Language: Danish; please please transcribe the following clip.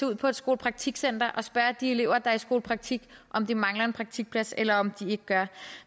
ud på et skolepraktikcenter og spørge de elever der er i skolepraktik om de mangler en praktikplads eller om de ikke gør